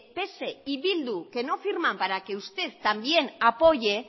ps y bildu que no firman para que usted también apoye